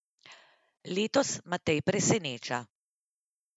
Letos Matej preseneča.